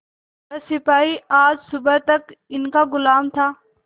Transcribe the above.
वह सिपाही आज सुबह तक इनका गुलाम था